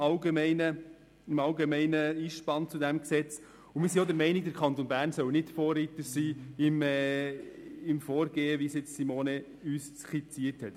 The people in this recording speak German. Wir sind zudem der Meinung, der Kanton Bern solle nicht Vorreiter sein in dem Vorgehen, wie es uns Grossrätin Machado skizziert hat.